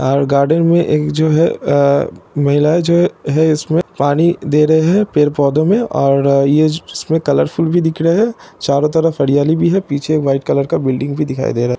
और गार्डन मे एक जो है आ महिला जो है पौधों इस मे पानी दे रही है पड़े पौधों में| और यह जिस में कॉर्फूल भी दिख रहे है चारो तरफ हरियाली भी है| पीछे वाइट कलर का बिल्डिंग भी दिखाई दे रहा है।